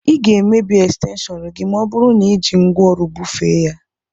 Ị ga-emebi ekstenshọnu gị ma ọ bụru na i ji ngwaọrụ bufee ya.